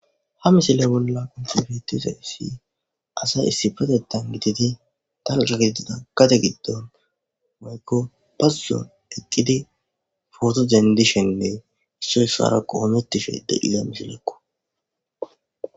Ha misile bolla konsebetisa issi asay issifatetan gitidi dalga giitida kate giddon maykko bazuson eqqidi footodendishenne issoy ssarakko oometishede iga misilekko.